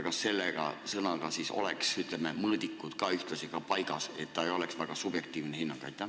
Kas selle sõnaga siis oleks ühtlasi, ütleme, mõõdikud paigas, et see ei oleks väga subjektiivne hinnang?